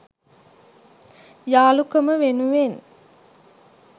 යාළුකම වෙනුවෙන්